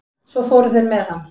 Svo fóru þeir með hann.